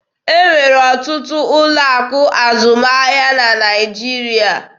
E nwere ọtụtụ ụlọ akụ azụmahịa na Naịjirịa.